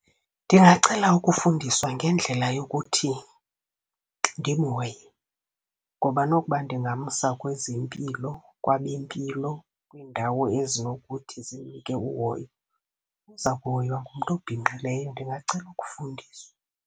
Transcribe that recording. Ndingacela ukufundiswa ngendlela yokuthi ndimhoye ngoba nokuba ndingamsa kwezempilo, kwabempilo, kwiindawo ezinokuthi zimnike uhoyo, uza kuhoywa ngumntu obhinqileyo. Ndingacela ukufundiswa.